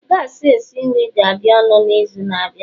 gas esi nri ga-adị ọnụ n'izu na-abịa